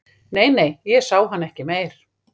Nei, nei, ég sá hann ekki meir